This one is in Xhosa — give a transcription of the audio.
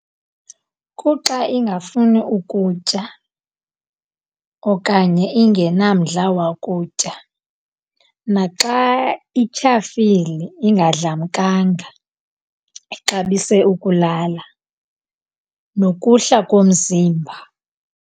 Kuxa ingafuni ukutya okanye ingenamdla wakutya. Naxa ityhafile ingadlamkanga, ixabise ukulala nokuhla komzimba.